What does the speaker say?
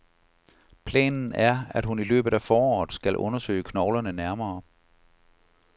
Planen er, at hun i løbet af foråret skal undersøge knoglerne nærmere.